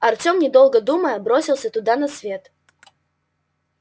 артем не долго думая бросился туда на свет